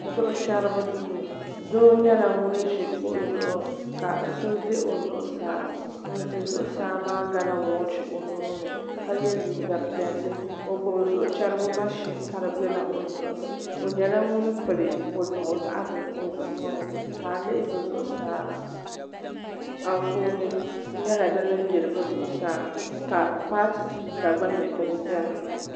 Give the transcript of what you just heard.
Zuɣu chɛribi duu doo nyɛla ŋun ʒi kuɣu zuɣu ka so ʒɛ o zuɣusaa ŋun ʒɛ zuɣusaa maa gala woochi o nuuni ka yɛ liiga piɛlli o gbubi zuɣu chɛrigu mashin ka di biɛla o zuɣu ni o nyɛla ŋun pili woliɣi zaɣ bili o zuɣu ŋo ni ka a lihi bi zuɣusaa Anfooni nyɛla din yili bi zuɣusaa ka paati tuuta gba biɛni